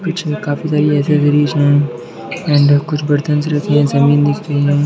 पीछे काफी सारी एसेसरीज है एंड कुछ बर्तन रखे हैं जमीन दिख रही है।